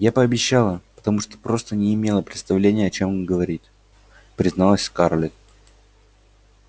я пообещала потому что просто не имела представления о чем она говорит призналась скарлетт